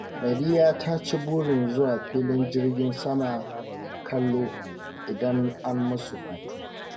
Nadiya ta ci burin zuwa filin jirgin sama kallo idan an musu hutu